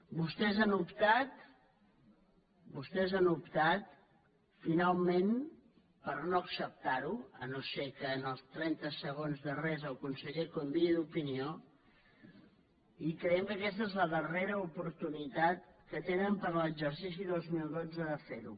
vostès han optat finalment per no acceptar ho si no és que en els trenta segons darrers el conseller canvia d’opinió i creiem que aquesta és la darrera oportunitat que tenen per a l’exercici dos mil dotze de fer ho